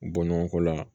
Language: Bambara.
Bɔ ɲɔgɔnko la